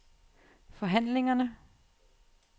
forhandlingerne